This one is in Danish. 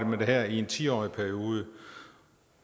med det her i en ti årig periode